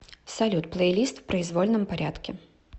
салют плейлист в произвольном порядке